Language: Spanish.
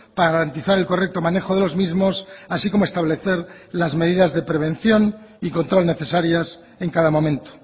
para garantizar el correcto manejo de los mismos así como establecer las medidas de prevención y control necesarias en cada momento